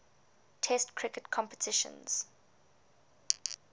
test cricket competitions